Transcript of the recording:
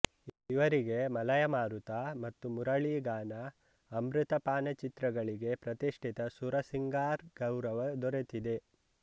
ಇವರಿಗೆ ಮಲಯ ಮಾರುತಮತ್ತು ಮುರಳಿ ಗಾನ ಅಮೃತ ಪಾನಚಿತ್ರಗಳಿಗೆ ಪ್ರತಿಷ್ಟಿತ ಸುರ್ ಸಿಂಗಾರ್ಗೌರವ ದೊರೆತಿದೆ